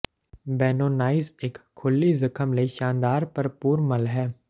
ਬੈਨੋਨਾਈਜ਼ ਇੱਕ ਖੁੱਲ੍ਹੀ ਜ਼ਖ਼ਮ ਲਈ ਸ਼ਾਨਦਾਰ ਭਰਪੂਰ ਮੱਲ ਹੈ